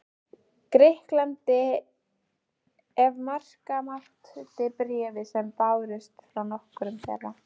Grikklandi, ef marka mátti bréf sem bárust frá nokkrum þeirra.